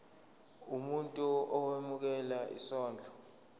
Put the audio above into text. umuntu owemukela isondlo